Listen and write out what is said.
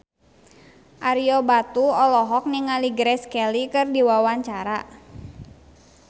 Ario Batu olohok ningali Grace Kelly keur diwawancara